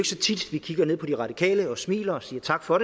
så tit vi kigger ned på de radikale og smiler og siger tak for